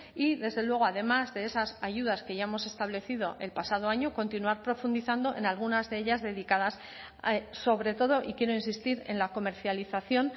y desde luego además de esas ayudas que ya hemos establecido el pasado año continuar profundizando en algunas de ellas dedicadas sobre todo y quiero insistir en la comercialización